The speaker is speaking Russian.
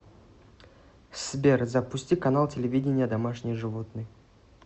сбер запусти канал телевидения домашние животные